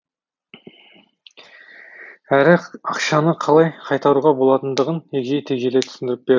әрі ақшаны қалай қайтаруға болатындығын егжей тегжейлі түсіндіріп берді